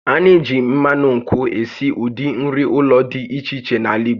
A na-eji mmanụ nkwụ esi ụdị nri ụlọ dị iche iche n'ala Igbo